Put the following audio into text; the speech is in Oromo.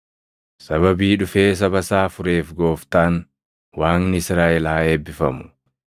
“Sababii dhufee saba isaa fureef Gooftaan, Waaqni Israaʼel haa eebbifamu.